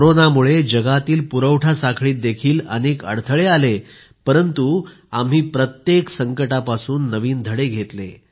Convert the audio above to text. कोरोनामुळे जगातील पुरवठा साखळीत देखील अनेक अडथळे आले परंतु आम्ही प्रत्येक संकटापासून नवीन धडे घेतले